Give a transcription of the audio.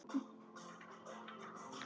Við sjáumst síðar.